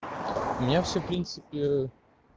меня всё в принципе